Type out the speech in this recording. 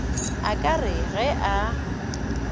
a ka re ge a